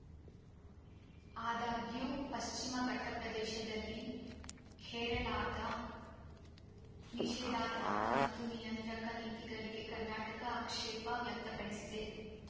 ಆದಾಗ್ಯೂ ಪಶ್ಚಿಮ ಘಟ್ಟಪ್ರದೇಶದಲ್ಲಿ ಹೇರಳಾದ ನಿಷೇಧಾತ್ಮಕ ಮತ್ತು ನಿಯಂತ್ರಕ ನೀತಿಗಳಿಗೆ ಕರ್ನಾಟಕ ಆಕ್ಷೇಪ ವ್ಯಕ್ತಪಡಿಸಿದೆ